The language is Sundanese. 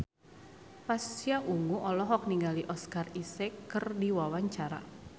Pasha Ungu olohok ningali Oscar Isaac keur diwawancara